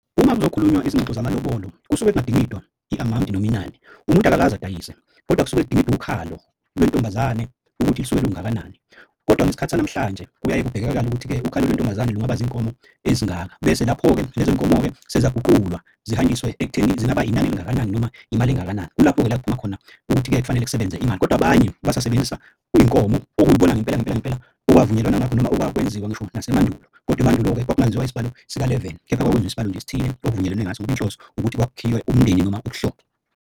Uma kuzokhulunywa izingxoxo zamalobolo kusuke kungadingidwa i-amawunti noma inani. Umuntu akakaze adayise kodwa kusuke zidingidwa ukhalo lentombazane ukuthi lisuke lungakanani, kodwa ngesikhathi sanamhlanje kuyaye kubhekakale ukuthi-ke ukhalo lentombazane lungaba zinkomo ezingaka. Bese lapho-ke lezo nkomo-ke seziyaguqulwa zihanjiswe ekuthenini zingaba inani elingakanani noma imali engakanani. Kulapho-ke la kuphuma khona ukuthi-ke kufanele kusebenze imali kodwa abanye basasebenzisa iy'nkomo okuyibona ngempela ngempela ngempela okwavunyelwana ngakho noma okwakwenziwa ngisho nasemandulo. Kodwa emandulo-ke kwakungenziwa isibalo sikaleveni kepha kwakwenziwa isibalo nje esithile okuvunyelwene ngaso ngoba inhloso ukuthi kwakhiwe umndeni noma ubuhlobo.